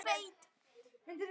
Þeir voru þó til.